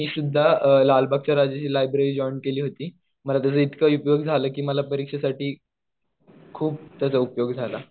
मी सुद्धा लालबागच्या राजाची लायब्रेरी जॉईन केली होती. मला त्याचा इतका उपयोग झाला कि मला परीक्षेसाठी खूप त्याचा उपयोग झाला.